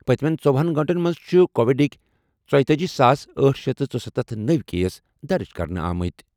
پٔتِمٮ۪ن ژوہنَ گٲنٛٹن منٛز چھِ کووِڈٕکۍ ژیۄتأجی ساس أٹھ شیٖتھ ژُسَتتھ نٔوۍ کیس درٕج کرنہٕ آمٕتۍ۔